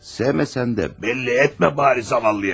Sevməsən də bəri başdan bildirmə yazıq qıza.